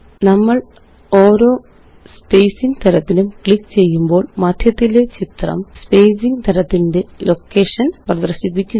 നമ്മള് ഓരോ സ്പേസിംഗ് തരത്തിലും ക്ലിക്ക് ചെയ്യുമ്പോള് മദ്ധ്യത്തിലെ ചിത്രം സ്പേസിംഗ് തരത്തിന്റെ ലൊക്കേഴന് പ്രദര്ശിപ്പിക്കുന്നു